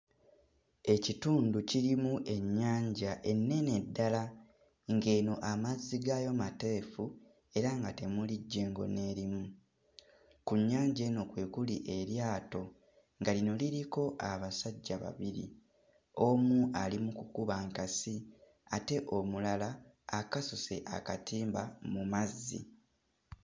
Ekitundu kirimu ennyanja ennene ddala ng'eno amazzi gaayo mateefu era nga temuli jjengo n'erimu ku nnyanja eno kwe kuli eryato nga lino liriko abasajja babiri omu ali mu kukuba nkasi ate omulala akasuse akatimba mu mazzi.